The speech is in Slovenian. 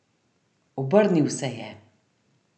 Obrnil se je.